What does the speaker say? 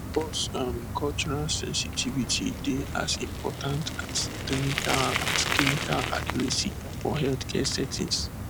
um cultural sensitivity dey as important as clinical as clinical accuracy for healthcare settings